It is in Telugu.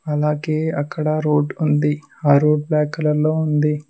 అలాగే అక్కడ రోడ్ ఉంది ఆ రోడ్ బ్యాక్ కలర్ లో ఉంది.